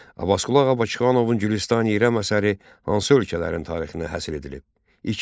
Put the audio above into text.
Abbasqulu Ağa Bakıxanovun Gülüstan-i İrəm əsəri hansı ölkələrin tarixinə həsr edilib?